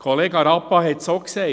Kollege Rappa hat es auch gesagt.